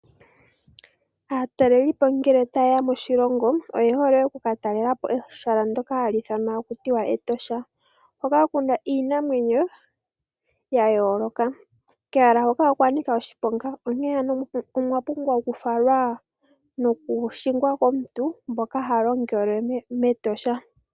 Aatalelipo ngele tayeya moshilongo oye hole okuka talelapo ehala hali ithanwa Etosha hoka kuna iinamwenyo ya yooloka. Kehala hoka okwa nika oshiponga. Onkee ano oya pumbwa okufalwa noku hingwa kwaamboka haya longele mEtosha.